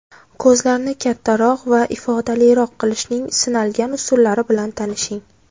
Ko‘zlarni kattaroq va ifodaliroq qilishning sinalgan usullari bilan tanishing.